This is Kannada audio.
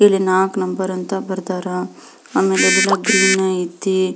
ಇಲ್ಲಿ ನಾಲ್ಕು ನಂಬರ್ ಅಂತ ಬರ್ದರ ಅಮೆಲಿ ಇಲ್ಲಿ ಎಲ್ಲ ಗ್ರೀನ್ ಐತಿ.